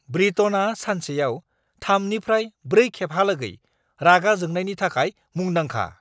ब्रिटनआ सानसेयाव 3 निफ्राय 4 खेबहालागै रागा जोंनायनि थाखाय मुंदांखा!